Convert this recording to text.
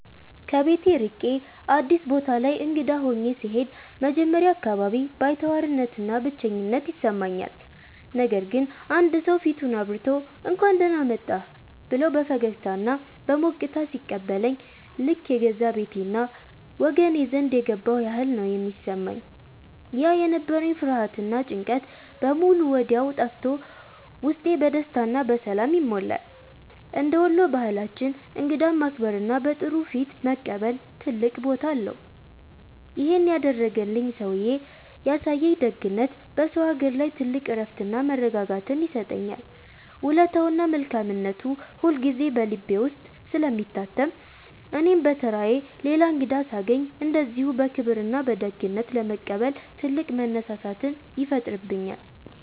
ከቤት ርቄ አዲስ ቦታ ላይ እንግዳ ሆኜ ስሄድ መጀመሪያ አካባቢ ባይተዋርነትና ብቸኝነት ይሰማኛል። ነገር ግን አንድ ሰው ፊቱን አብርቶ፣ «እንኳን ደህና መጣህ» ብሎ በፈገግታና በሞቅታ ሲቀበለኝ ልክ የገዛ ቤቴና ወገኔ ዘንድ የገባሁ ያህል ነው የሚሰማኝ። ያ የነበረኝ ፍርሃትና ጭንቀት በሙሉ ወዲያው ጠፍቶ ውስጤ በደስታና በሰላም ይሞላል። እንደ ወሎ ባህላችን እንግዳን ማክበርና በጥሩ ፊት መቀበል ትልቅ ቦታ አለው። ይሄን ያደረገልኝ ሰውዬ ያሳየኝ ደግነት በሰው አገር ላይ ትልቅ እረፍትና መረጋጋትን ይሰጠኛል። ውለታውና መልካምነቱ ሁልጊዜ በልቤ ውስጥ ስለሚታተም እኔም በተራዬ ሌላ እንግዳ ሳገኝ እንደዚሁ በክብርና በደግነት ለመቀበል ትልቅ መነሳሳትን ይፈጥርብኛል።